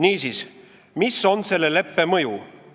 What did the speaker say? Niisiis, mis on selle leppe mõju?